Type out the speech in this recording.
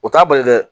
O t'a bali dɛ